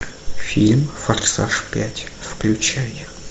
фильм форсаж пять включай